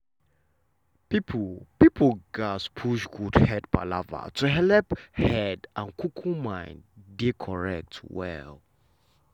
people people gatz push good head palava to helep head and um mind dey um well.